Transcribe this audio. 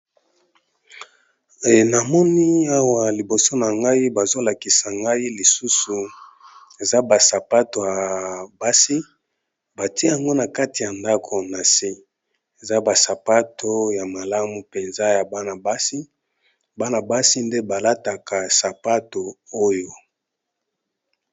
Enamoni awa liboso na ngai bazolakisa ngai lisusu eza basapato ya basi batie yango na kati ya ndako na se eza basapato ya malamu mpenza ya bana basi bana basi nde balataka sapato oyo.